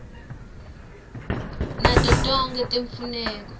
nato tonkhe letimfuneko